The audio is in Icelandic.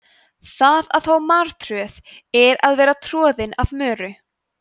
það að fá martröð er að vera troðin af möru